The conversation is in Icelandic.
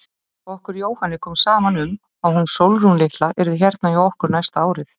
Okkur Jóhanni kom saman um að hún Sólrún litla yrði hérna hjá okkur næsta árið.